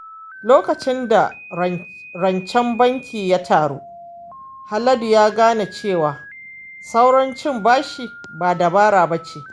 Lokacin da rancen banki ya taru, Haladu ya gane cewa saurin cin bashi ba dabara ba ce.